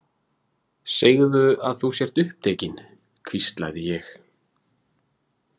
Segðu að þú sért upptekin, hvíslaði ég.